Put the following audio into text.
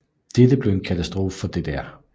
Dette blev en katastrofe for DDR